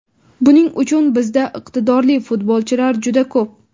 Buning uchun bizda iqtidorli futbolchilar juda ko‘p.